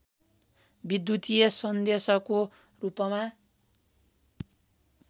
विद्युतीय सन्देशको रूपमा